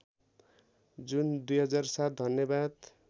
जुन २००७ धन्यवाद